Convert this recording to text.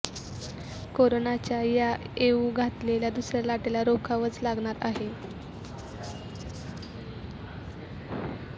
कोरोनाच्या या येऊ घातलेल्या दुसऱ्या लाटेला रोखावंच लागणार आहे